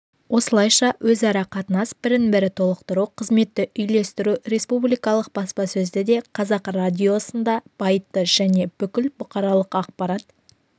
осылайша өзара қатынас бірін-бірі толықтыру қызметті үйлестіру республикалық баспасөзді де қазақ радиосын да байытты және бүкіл бұқаралық ақпарат